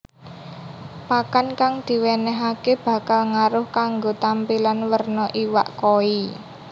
Pakan kang diwènèhaké bakal ngaruh kanggo tampilan werna iwak koi